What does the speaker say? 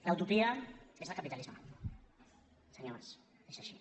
la utopia és el capitalisme senyor mas és així